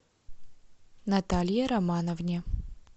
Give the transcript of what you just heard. наталье романовне